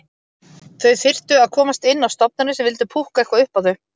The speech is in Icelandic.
Þau þyrftu að komast inn á stofnanir sem vildu púkka eitthvað upp á þau.